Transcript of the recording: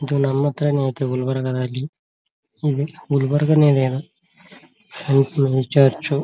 ಇದು ನನ್ನ ಹತ್ರನೇ ಆಯ್ತೆ ಗುಲ್ಬರ್ಗಾದಲ್ಲಿ ಇದಿ ಗುಲ್ಬರ್ಗಾ ಇದೇನೋ ಸನ್ ಪ್ಯೂರ್ ಚರ್ಚು .